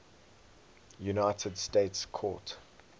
united states court